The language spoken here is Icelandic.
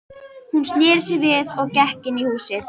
Hún sneri sér við og gekk inní húsið.